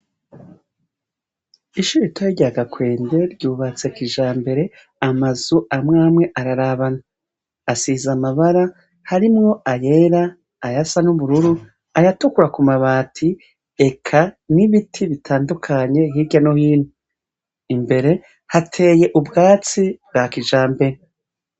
Ishure ritoya rya Gakwende ryubatse kijambere, amazu amwe amwe ararabana. Asize amabara harimwo ayera, ayasa n'ubururu, ayatukura ku mabati, eka n'ibiti bitandukanye hirya no hino. Imbere hateye ubwatsi bwa kijambere.